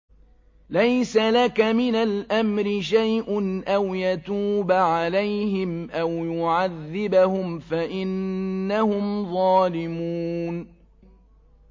لَيْسَ لَكَ مِنَ الْأَمْرِ شَيْءٌ أَوْ يَتُوبَ عَلَيْهِمْ أَوْ يُعَذِّبَهُمْ فَإِنَّهُمْ ظَالِمُونَ